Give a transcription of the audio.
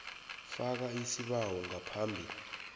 faka isibawo ngaphambi